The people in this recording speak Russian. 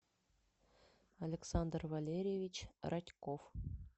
александр валерьевич радьков